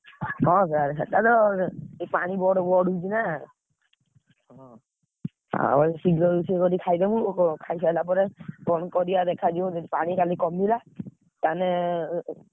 ହଁ, ସେଇଆ ଚାଲ ପାଣି ବଢୁଛି ନା, ଆଉ ଶୀଘ୍ର ରୋଷେଇ କରିକି ଖାଇଦବୁ, ଖାଇସାରିଲା ପରେ କଣ କରିଆ ଦେଖାଯିବ, ଯଦି ପାଣି କାଲି କମିଲା, ତାମାନେ।